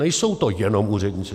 Nejsou to jenom úředníci.